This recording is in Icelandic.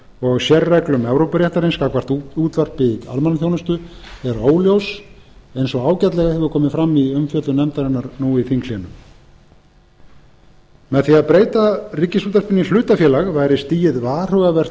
og sérreglum evrópuréttarins gagnvart útvarpi í almannaþjónustu er óljós eins og ágætlega hefur komið fram í umfjöllun nefndarinnar nú í þinghléi með því að breyta ríkisútvarpinu í hlutafélag væri stigið varhugavert